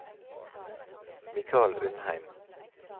Mikal Undheim